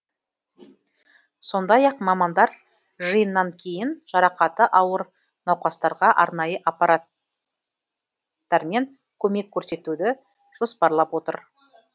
сондай ақ мамандар жиыннан кейін жарақаты ауыр науқастарға арнайы аппараттармен көмек көрсетуді жоспарлап отыр